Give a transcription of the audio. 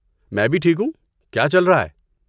میں بھی ٹھیک ہوں۔ کیا چل رہا ہے؟